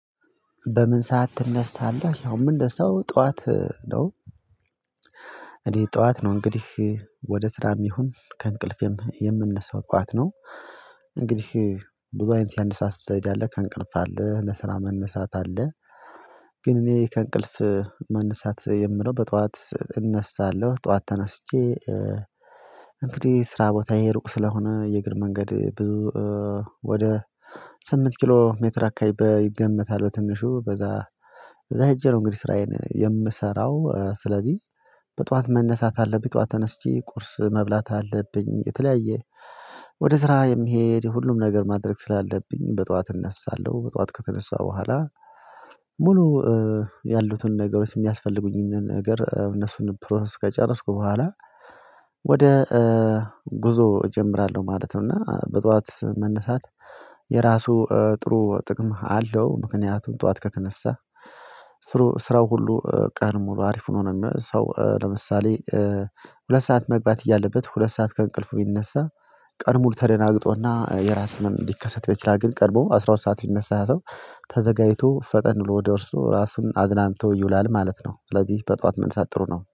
በምን ሰዓት ትነሳለህ? ያው እንደ ሰው ጠዋት ነው። እኔ ጠዋት ነው እንግዲህ። ወደ ስራም ይሁን ከእንቅልፌም የምንነሳው ጠዋት ነው። እንግዲህ ዱባይን ሲያነሣ ስትሰይድ አለ ከእንቅልፍ አለ ለስራ መነሳት አለ። ግን እኔ ከእንቅልፍ መነሳት የምለው በጧት እነሳለሁ። ጠዋት ተነስቼ እንግዲህ ስራ ቦታዬ ሩቅ ስለሆነ የእግር መንገድ ብዙ ወደ ስምንት ኪሎ ሜትር አካባቢ ይገመታል። በትንሹ በዛ ከዛ እጄ ነው እንግዲህ ስራዬን የምሰራው ስለዚህ በጧት መነሳት አለብኝ። ጧት ተነስቼ ቁርስ መብላት አለብኝ። የተለያየ ወደ ስራ የሚሄድ የሁሉም ነገር ማድረግ ስላለብኝ በጠዋት እነሳለሁ። በጧት ከተነሳሁ በኋላ ሙሉ ያሉትን ነገሮች የሚያስፈልጉኝን ነገር እነሱን ፕሮሰስ ከጨረስኩ በኋላ ወደ ጉዞ እጀምራለሁ ማለት ነው። እና በጧት መነሳት የራሱ ጥሩ ጥቅም አለው። ምክንያቱም ጠዋት ከተነሳ ስራው ሁሉ ቀን ሙሉ አሪፍ ሆኖ ነው። ሰው ለምሳሌ ሁለት ሰዓት መግባት እያለበት ሁለት ሰዓት ከእንቅልፉ ቢነሳ ቀኑን ሙሉ ተደናግጦና የራስ ህመም ሊከሰትበት ይችላል። ግን ቀድሞ አስራ ሁለት ሰዓት የሚነሳ ሰው ተዘጋጅቶ ፈጠን ወደ እርሱ ራሱን አዝናንቶ ይውላል ማለት ነው። ስለዚህ በጠዋት መነሳት ጥሩ ነው